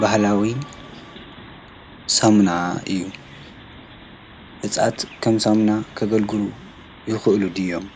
ባህሊዊ ሳሙና እዩ። አፅዋት ከም ሳሙና ከገልግሉ ይክእል ድዮም?